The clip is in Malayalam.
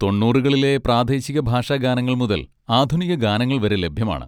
തൊണ്ണൂറുളിലെ പ്രാദേശിക ഭാഷാഗാനങ്ങൾ മുതൽ ആധുനിക ഗാനങ്ങൾ വരെ ലഭ്യമാണ്.